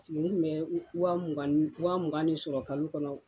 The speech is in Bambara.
nne tun bɛ wa mugan de sɔrɔ kalo kɔnɔ